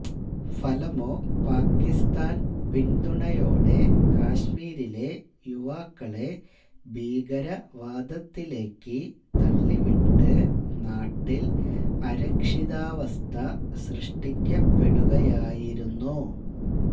ഫലമോ പാക്കിസ്ഥാൻ പിന്തുണയോടെ കാശ്മീരിലെ യുവാക്കളെ ഭീകരവാദത്തിലേക്ക് തള്ളിവിട്ട് നാട്ടിൽ അരക്ഷിതാവസ്ഥ സൃഷ്ടിക്കപ്പെടുകയായിരുന്നു